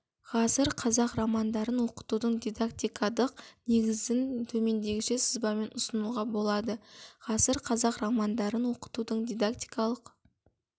ғасыр қазақ романдарын оқытудың дидактикадық негізін төмендегіше сызбамен ұсынуға болады ғасыр қазақ романдарын оқытудың дидактикалық